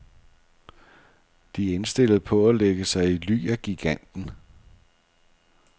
De er indstillede på at lægge sig i ly af giganten.